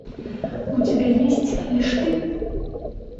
у тебя есть лишь ты